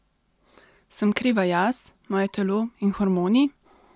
Sem kriva jaz, moje telo in hormoni?